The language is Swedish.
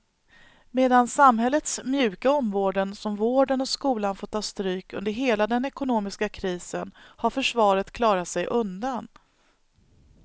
Medan samhällets mjuka områden som vården och skolan fått ta stryk under hela den ekonomiska krisen har försvaret klarat sig undan.